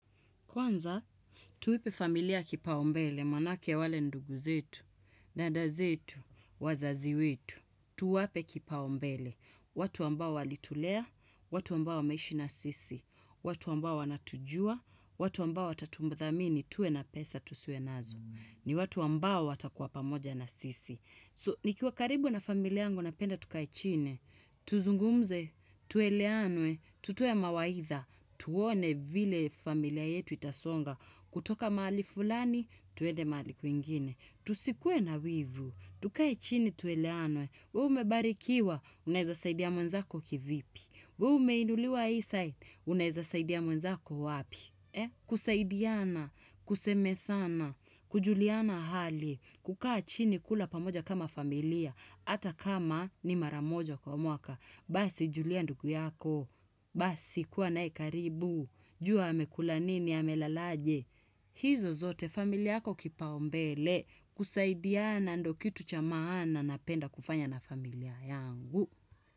Kwanza, tuipe familia kipau mbele, maanake wale ndugu zetu, dada zetu, wazazi wetu, tuwape kipau mbele. Watu ambao walitulea, watu ambao wameishi na sisi, watu ambao wanatujua, watu ambao watatudhamini tuwe na pesa tusiwe nazo. Ni watu ambao watakuwa pamoja na sisi. So, nikiwa karibu na familia yangu napenda tukai chini, tuzungumze, tueleanwe, tutoe mawaidha, tuone vile familia yetu itasonga, kutoka mahali fulani, tuende mahali kwingine. Tusikue na wivu, tukae chini tueleanwe, we umebarikiwa, unaeza saidia mwenzako kivipi, we umeinuliwa hii side, unaeza saidia mwenzako wapi. Kusaidiana, kusemezana, kujuliana hali kukaa chini kula pamoja kama familia hAta kama ni maramoja kwa mwaka Basi julia ndugu yako Basi kuwa nae karibu jua amekula nini, amelalaje hizo zote, familia yako kipaumbele kusaidiana ndo kitu cha maana napenda kufanya na familia yangu.